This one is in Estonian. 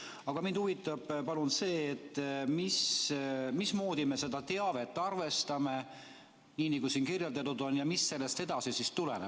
Aga mind huvitab see, mismoodi me seda teavet arvestame ja mis sellest tuleneb.